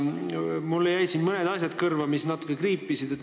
Mulle jäid siin mõned asjad natuke kõrva kriipima.